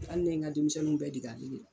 Hali ne ye n ka denmisɛnninw bɛɛ dege ale de la.